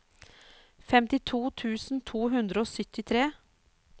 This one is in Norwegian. femtito tusen to hundre og syttitre